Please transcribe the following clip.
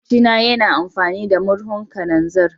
Makwabci na yana amfani da murhun kananzir.